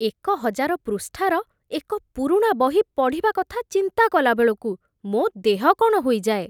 ଏକ ହଜାର ପୃଷ୍ଠାର ଏକ ପୁରୁଣା ବହି ପଢ଼ିବା କଥା ଚିନ୍ତା କଲାବେଳକୁ ମୋ ଦେହ କ'ଣ ହୋଇଯାଏ।